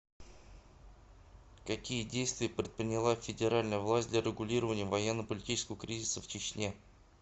какие действия предприняла федеральная власть для регулирования военно политического кризиса в чечне